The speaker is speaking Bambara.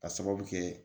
Ka sababu kɛ